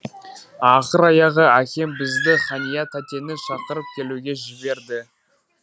ақыр аяғы әкем бізді хания тәтені шақырып келуге жіберді